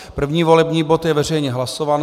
První volební bod je veřejně hlasován.